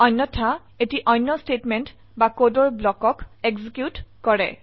অন্যথা এটি অন্য স্টেটমেন্ট বা কোডৰ ব্লকক এক্সিকিউট কৰে